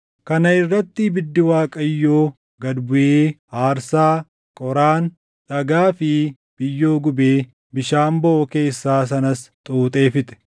Kana irratti ibiddi Waaqayyoo gad buʼee aarsaa, qoraan, dhagaa fi biyyoo gubee bishaan boʼoo keessaa sanas xuuxee fixe.